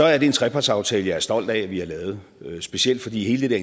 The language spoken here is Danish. er en trepartsaftale jeg er stolt af vi har lavet specielt fordi hele det